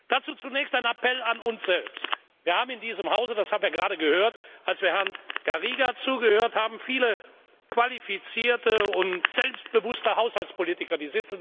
Dazu zunächst ein Appell an uns selbst Wir haben in diesem Hause, das haben wir gerade gehört, als wir Herrn Garriga zugehört haben, viele qualifizierte und selbstbewusste Haushaltspolitiker.